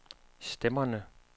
stemmerne